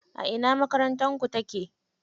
A ina makarantarku take?